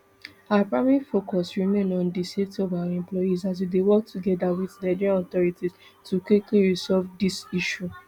our primary focus remain on di safety of our employees and we dey work togeda wit nigerian authorities to quickly resolve dis issue